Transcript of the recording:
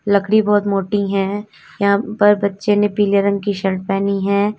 लकड़ी बहुत मोटी है यहां पर बच्चों ने पीले रंग की शर्ट पहनी है।